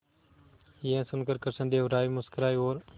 यह सुनकर कृष्णदेव राय मुस्कुराए और